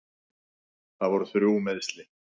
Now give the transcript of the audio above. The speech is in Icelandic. Þetta voru þrjú meiðsli.